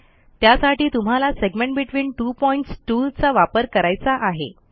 त्यासाठी तुम्हाला segment between two points tool चा वापर करायचा आहे